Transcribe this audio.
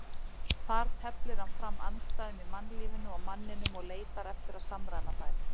Þar teflir hann fram andstæðum í mannlífinu og manninum og leitar eftir að samræma þær.